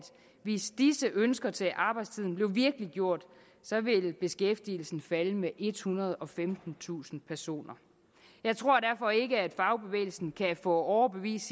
hvis disse ønsker til arbejdstiden blev virkeliggjort ville beskæftigelsen falde med ethundrede og femtentusind personer jeg tror derfor ikke at fagbevægelsen kan få overbevist